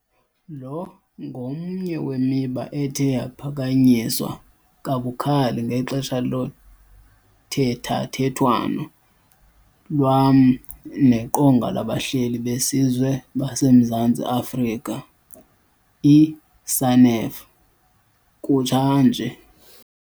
Lo ngomnye wemiba ethe yaphakanyiswa kabukhali ngexesha lothethathethwano lwam neQonga labaHleli beSizwe baseMzantsi Afrika, i-SANEF, kutsha nje.